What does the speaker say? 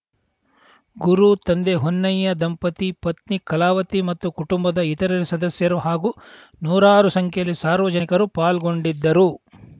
ಗುರು ತಂದೆ ಹೊನ್ನಯ ದಂಪತಿ ಪತ್ನಿ ಕಲಾವತಿ ಮತ್ತು ಕುಟುಂಬದ ಇತರೆ ಸದಸ್ಯರು ಹಾಗೂ ನೂರಾರು ಸಂಖ್ಯೆಯಲ್ಲಿ ಸಾರ್ವಜನಿಕರು ಪಾಲ್ಗೊಂಡಿದ್ದರು